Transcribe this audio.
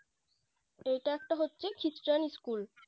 এইটা হচ্ছে একটা খ্রিস্টান School